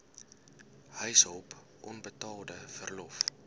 huishulp onbetaalde verlof